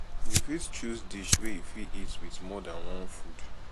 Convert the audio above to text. you fit choose dish wey you fit eat with more than one food